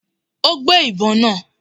Ó gbé ìbo náà